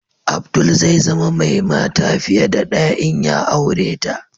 Abdul zai zama mai mata fiye da ɗaya in ya aure ta.